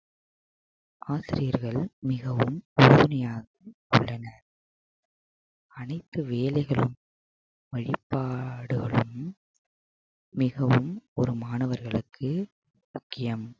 ஆசிரியர்கள் மிகவும் உறுதுணையாக உள்ளனர் அனைத்து வேலைகளும் வழிபாடுகளும் மிகவும் ஒரு மாணவர்களுக்கு முக்கியம்